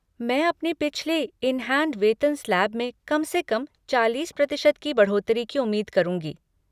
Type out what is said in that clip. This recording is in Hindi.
मैं अपने पिछले इन हैंड वेतन स्लैब में कम से कम चालीस प्रतिशत की बढ़ोतरी की उम्मीद करूँगी।